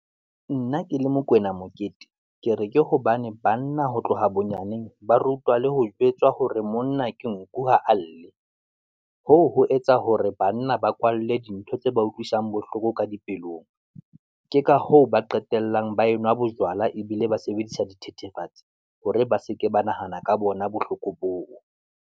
Nna ke le Mokoena Mokete, ke re ke hobane banna ho tloha bonyaneng ba rutwa le ho jwetswa hore monna ke nku ha alle, hoo ho etsa hore banna ba kwa a lle dintho tse ba utlwisang bohloko ka dipelong. Ke ka hoo ba qetellang ba enwa bojwala, ebile ba sebedisa di thethefatsi hore ba seke ba nahana ka bona bohloko boo.